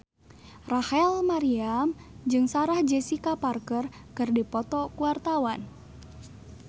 Rachel Maryam jeung Sarah Jessica Parker keur dipoto ku wartawan